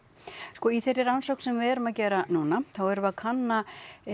sko í þeirri rannsókn sem við erum að gera núna þá erum við að kanna